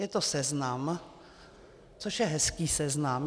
Je to seznam, což je hezký seznam.